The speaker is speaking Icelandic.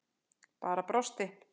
Bara brosti.